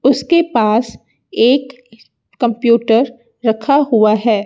उसके पास एक कंप्यूटर रखा हुआ है।